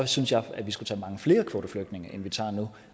synes jeg at vi skulle tage mange flere kvoteflygtninge end vi tager nu